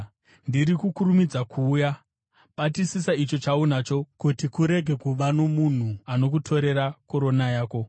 Ndiri kukurumidza kuuya. Batisisa icho chaunacho, kuti kurege kuva nomunhu anokutorera korona yako.